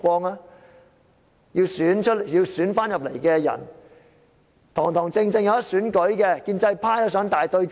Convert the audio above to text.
參選的人均希望能堂堂正正地競選，建制派也想進行"大對決"。